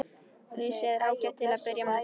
Risið er ágætt til að byrja með.